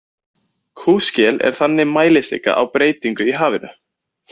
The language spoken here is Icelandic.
Kúskel er þannig mælistika á breytingar í hafinu.